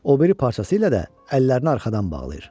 O biri parçası ilə də əllərini arxadan bağlayır.